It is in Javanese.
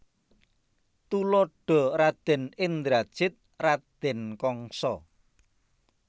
Tuladha Radèn Indrajit Radèn Kangsa